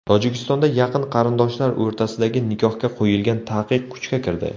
Tojikistonda yaqin qarindoshlar o‘rtasidagi nikohga qo‘yilgan taqiq kuchga kirdi.